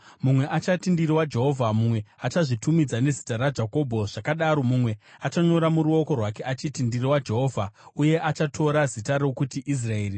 Mumwe achati, ‘Ndiri waJehovha’; mumwe achazvitumidza nezita raJakobho; zvakadaro, mumwe achanyora muruoko rwake achiti, ‘Ndiri waJehovha,’ uye achatora zita rokuti Israeri.